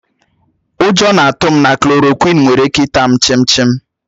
Ụjọ na-atụ m na klòròkwịn nwere ike ità m chím chim